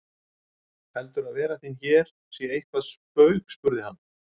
Heldurðu að vera þín hér sé eitthvert spaug spurði hann.